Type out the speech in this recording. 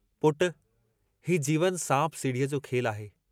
हीउ जीवन सांप सीढ़ीअ जो खेलु आहे।